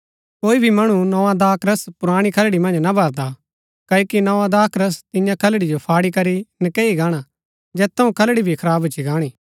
कोई भी मणु नोआ दाखरस पुराणी खलड़ी मन्ज ना भरदा क्ओकि नोआ दाखरस तियां खलड़ी जो फाड़ी करी नकैई गाणा जैत थऊँ खलड़ी भी खराब भूच्ची गाणी